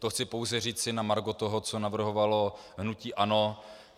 To chci pouze říci na margo toho, co navrhovalo hnutí ANO.